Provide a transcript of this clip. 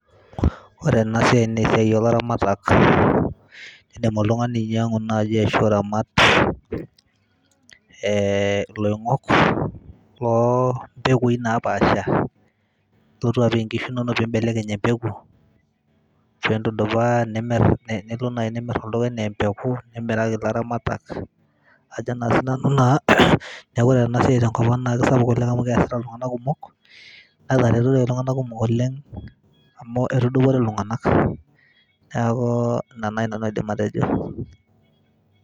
Ore ena siai naa esiai olamaratak, indim oltung'ani ainyang'u ashu nai iramat ee iloing'ok lo mpekui napaasha nilotu apik nkishu inonok nibelekeny embegu, pintudupaa nilo nai nimir oltung'ani nee mbeku nimiraki laramatak ajo naa sinanu naa neeku, ore ena siai te nkop ang' naa sapuk oleng' amu keesita iltung'anak kumok naa enaretito iltung'anak kumok oleng' amu etudupore iltung'anak neeku ina nai aidim atejo.